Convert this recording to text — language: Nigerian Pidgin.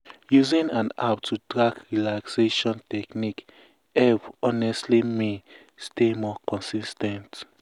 using an app to track relaxation techniques helped honestly me stay more consis ten t. um